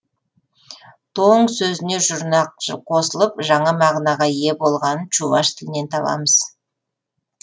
тоң сөзіне жұрнақтар қосылып жаңа мағынаға ие болғанын чуваш тілінен табамыз